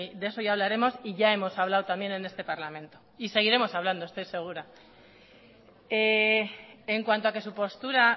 de eso ya hablaremos y ya hemos hablado también en este parlamento y seguiremos hablando estoy segura en cuanto a que su postura